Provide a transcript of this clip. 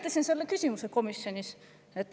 Ma esitasin selle küsimuse ka komisjonis.